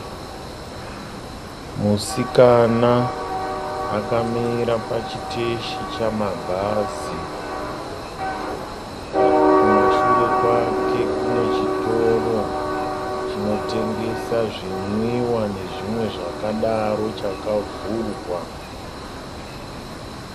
Musikana akamira pachiteshi chamabhazi. Kumashure kwake kune chitoro chinotengesa zvinwiwa nezvimwe zvakadaro chakavhurwa.